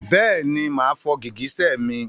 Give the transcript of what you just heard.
Bẹ́ẹ̀ni máa fọ gìgísẹ̀ mi.